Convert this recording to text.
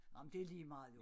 Ej men det ligemeget jo